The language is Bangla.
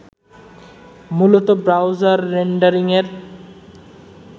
মূলত ব্রাউজার রেন্ডারিঙের